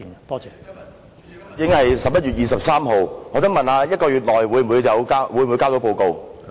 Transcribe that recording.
今天已經是11月23日，我想問在1個月內是否能夠提交報告？